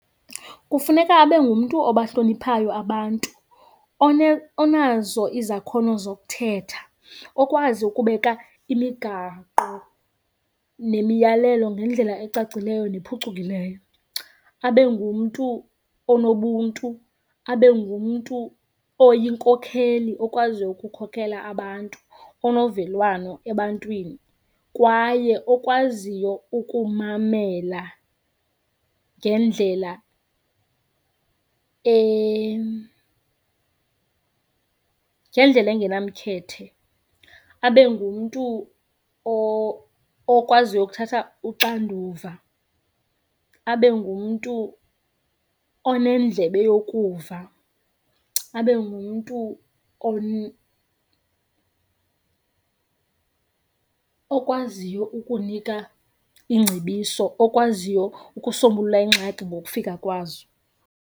Kufuneka abe ngumntu obahloniphayo abantu onazo izakhono zokuthetha, okwazi ukubeka imigaqo nemiyalelo ngendlela ecacileyo nephucukileyo. Abe ngumntu onobuntu. Abe ngumntu oyinkokheli okwaziyo ukukhokela abantu, onovelwano ebantwini kwaye okwaziyo ukumamela ngendlela ngendlela engenamkhethe. Abe ngumntu okwaziyo ukuthatha uxanduva. Abe ngumntu onendlebe yokuva. Abe ngumntu okwaziyo ukunika iingcebiso, okwaziyo ukusombulula iingxaki ngokufika kwazo.